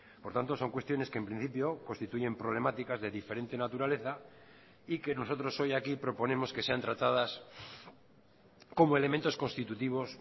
por tanto son cuestiones que en principio constituyen problemáticas de diferente naturaleza y que nosotros hoy aquí proponemos que sean tratadas como elementos constitutivos